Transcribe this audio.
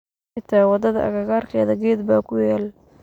Xita wadada akakarkedha geed ba kuyal.